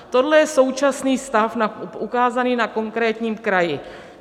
Tohle je současný stav ukázaný na konkrétním kraji.